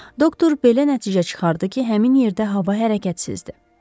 Doktor belə nəticə çıxartdı ki, həmin yerdə hava hərəkətsizdir.